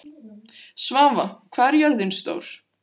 Svava, hvað er jörðin stór?